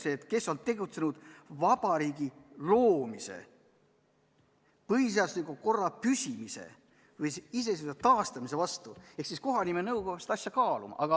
] kes on tegutsenud Eesti Vabariigi loomise, põhiseadusliku korra püsimise või Eesti iseseisvuse taastamise vastu", siis kohanimenõukogu peab seda asja kaaluma.